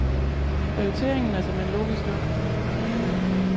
Prioriteringen er såmen logisk nok.